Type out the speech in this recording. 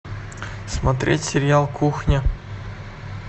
смотреть сериал кухня